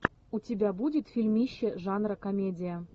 у тебя будет фильмище жанра комедия